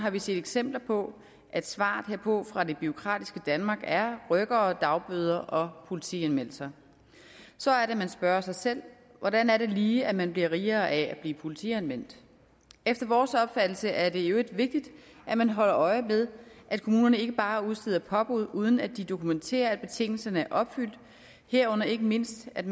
har vi set eksempler på at svaret herpå fra det bureaukratiske danmark er rykkere dagbøder og politianmeldelser så er det man spørger sig selv hvordan er det lige man bliver rigere af at blive politianmeldt efter vores opfattelse er det i øvrigt vigtigt at man holder øje med at kommunerne ikke bare udsteder påbud uden at de dokumenterer at betingelserne er opfyldt herunder ikke mindst at